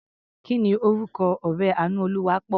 Kí ni orúkọ ọ̀rẹ́ Àánúolúwaápọ̀?